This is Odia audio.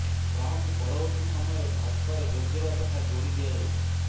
ଯାହାକୁ ପରବର୍ତ୍ତୀ ସମୟରେ ଭାଜପାରେ ଯୋଗଦେବା କଥା ଯୋଡି ଦିଆଯାଇଛି